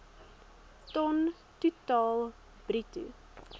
ton totaal bruto